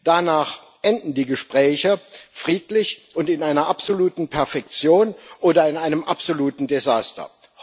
Danach enden die Gespräche friedlich und in einer absoluten Perfektion oder in einem absoluten Desaster.